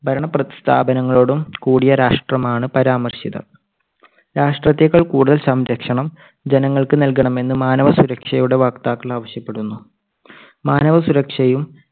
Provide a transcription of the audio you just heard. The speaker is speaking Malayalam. ഭരണ പ്രസ്ഥാനങ്ങളോടും കൂടിയ രാഷ്ട്രമാണ് പരാമർശിതർ. രാഷ്ട്രത്തെക്കാൾ കൂടുതൽ സംരക്ഷണം ജനങ്ങൾക്ക് നൽകണമെന്ന് മാനവസുരക്ഷയുടെ വക്താക്കൾ ആവശ്യപ്പെടുന്നു. മാനവസുരക്ഷയും